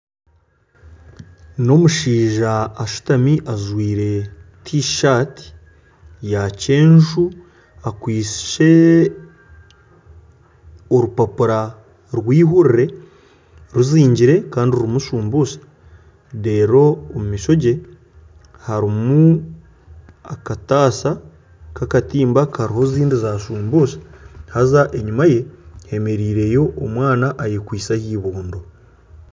N'omushaija ashutami ajwire tishati yaakyenju akwitse orupapura rw'eihuurire, ruzingire kandi rurimu shumbusa reero omu maisho ge harimu akatasha k'akatimba kariho ezindi za shumbusha kandi enyima ye hemereireyo omwana ayekwitse aha ibondo